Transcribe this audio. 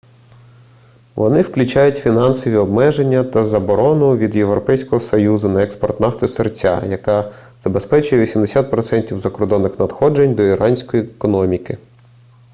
вони включають фінансові обмеження та заборону від європейського союзу на експорт нафти-сирця яка забезпечує 80% закордонних надходжень до іранської економіки